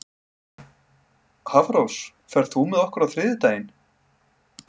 Hafrós, ferð þú með okkur á þriðjudaginn?